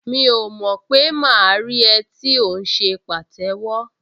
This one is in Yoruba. Mi ò mọ̀ pé máa rí ẹ tí ò ń ṣe pàtẹ́wọ́